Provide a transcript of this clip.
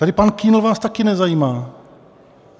Tady pan Kühn vás taky nezajímá.